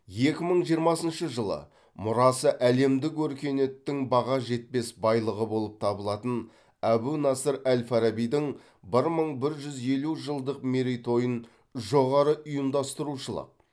екі мың жиырмасыншы жылы мұрасы әлемдік өркениеттің баға жетпес байлығы болып табылатын әбу насыр әл фарабидің бір мың бір жүз елу жылдық мерейтойын жоғары ұйымдастырушылық